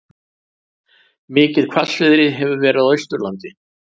Mikið hvassviðri hefur verið á Austurlandi